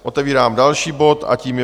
Otevírám další bod a tím je